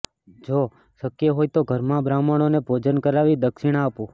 જો શક્ય હોય તો ઘરમાં બ્રાહ્મણોને ભોજન કરાવી દક્ષિણા આપો